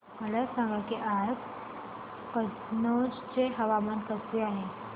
मला सांगा की आज कनौज चे हवामान कसे आहे